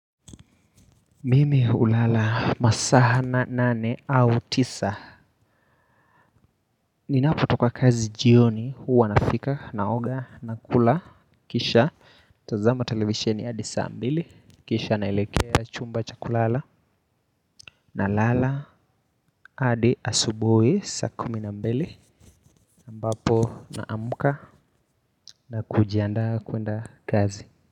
Mimi hulala masaa nane au tisa. Ninapotoka kazi jioni huwa nafika naoga nakula. Kisha natazama televisheni hadi saa mbili. Kisha naelekea chumba cha kulala. Nalala hadi asubuhi sa kumi na mbili ambapo naamuka na kujiandaa kwenda kazi.